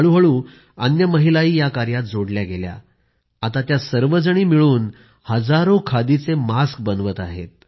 हळूहळू अन्य महिलाही या कार्यात जोडल्या गेल्या आता त्या सर्वजणी मिळून हजारो खादीचे मास्क बनवत आहेत